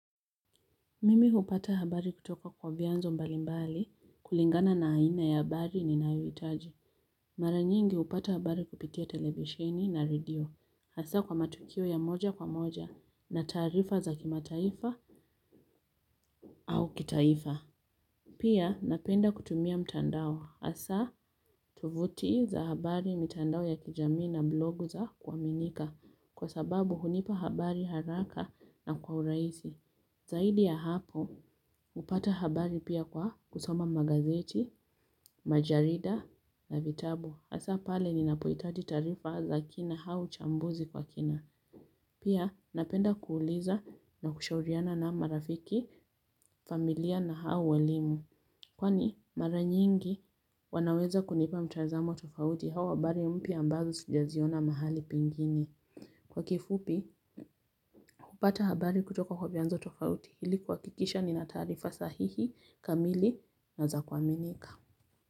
Mimi hupata habari kutoka kwa vianzo mbalimbali, kulingana na aina ya habari ninayohitaji. Mara nyingi hupata habari kupitia televisheni na radio, hasa kwa matukio ya moja kwa moja, na taarifa za kimataifa au kitaifa. Pia napenda kutumia mtandao hasa tuvuti za habari mtandao ya kijamii na blogu za kuaminika, kwa sababu hunipa habari haraka na kwa urahisi. Zaidi ya hapo, upata habari pia kwa kusoma magazeti, majarida na vitabu. Hasa pale ninapohitaji taarifa za kina au chambuzi kwa kina. Pia napenda kuuliza na kushauriana na marafiki, familia na au walimu. Kwani maranyingi wanaweza kunipa mtazamo tofauti au habari mpya ambazo sijaziona mahali pengine. Kwa kifupi, kupata habari kutoka kwa vianzo tofauti ili kuhakikisha ni na taarifa sahihi kamili na za kuaminika.